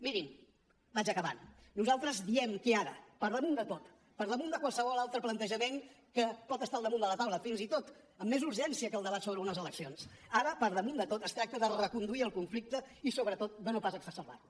mirin vaig acabant nosaltres diem que ara per damunt de tot per damunt de qualsevol altre plantejament que pot estar al damunt de la taula fins i tot amb més urgència que el debat sobre unes eleccions es tracta de reconduir el conflicte i sobretot de no pas exacerbar lo